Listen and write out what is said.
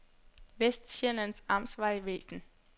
Vestsjællands Amtsvejvæsen